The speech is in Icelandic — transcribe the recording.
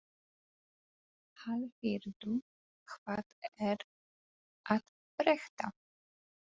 Hallfríður, hvað er að frétta?